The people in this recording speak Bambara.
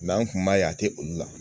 an kun b'a ye a tɛ olu la.